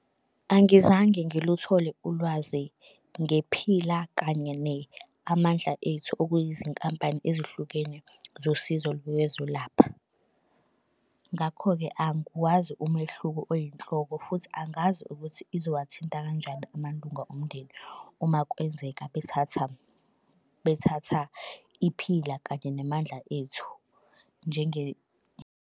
Angizange ngiluthole ulwazi ngePhila kanye ne-Amandla Ethu okuyizinkampani ezihlukene zosizo lwezolapha. Ngakho-ke angiwazi umehluko oyinhloko futhi angazi ukuthi izowathinta kanjani amalunga omndeni uma kwenzeka bethatha bethatha iPhila kanye ne-Amandla Ethu .